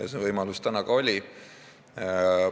See võimalus täna ka oli.